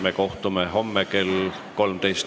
Me kohtume homme kell 13.